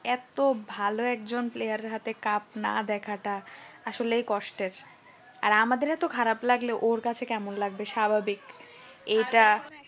এত ভালো একজন player হাতে cup না দেখাটা আসলেই কষ্টের আর আমাদের এত খারাপ লাগলে ওর কাছে কেমন লাগবে স্বাভাবিক এইটা